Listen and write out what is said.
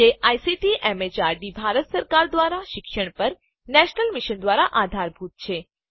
જે ICT MHRD Bharat સરકાર દ્વારા શિક્ષણ પર નેશનલ મિશન દ્વારા આધારભૂત છે